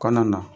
Kɔnɔna na